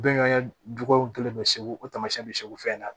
Bɛnkan jugu kelen bɛ segu tamasiyɛn bɛ segu fɛ